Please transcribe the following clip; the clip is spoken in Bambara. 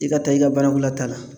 I ka taa i ka banakɔlata la